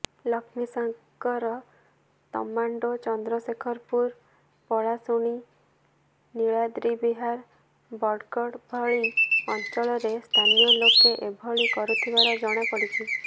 ଲକ୍ଷ୍ମୀସାଗର ତମାଣ୍ଡୋ ଚନ୍ଦ୍ରଶେଖରପୁର ପଳାଶୁଣୀ ନିଳାଦ୍ରିବିହାର ବଡ଼ଗଡ଼ ଭଳି ଅଞ୍ଚଳରେ ସ୍ଥାନୀୟ ଲୋକେ ଏଭଳି କରୁଥିବାର ଜଣାପଡିଛି